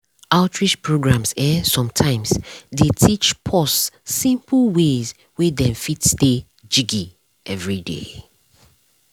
outreach programs eh sometimes dey teach pause simple ways wey dem fit stay jiggy everyday.